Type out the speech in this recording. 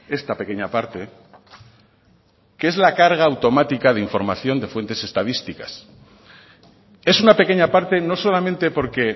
esta pequeña parte que es la carga automática de información de fuentes estadísticas es una pequeña parte no solamente porque